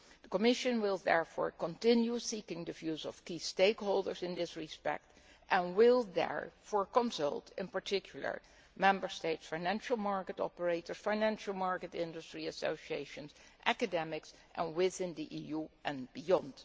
The Commission will therefore continue seeking the views of key stakeholders in this respect and will therefore consult, in particular, Member States, financial market operators, financial market industry associations and academics within the EU and beyond.